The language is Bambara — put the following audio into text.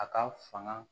A ka fanga